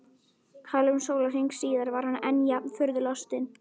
Hálfum sólarhring síðar var hann enn jafn furðu lostinn.